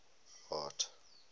art